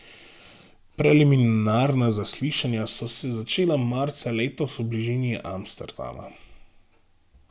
Preliminarna zaslišanja so se začela marca letos v bližini Amsterdama.